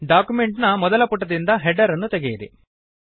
document ನ ಮೊದಲ ಪುಟದಿಂದ ಹೆಡರ್ ಅನ್ನು ತೆಗೆಯಿರಿ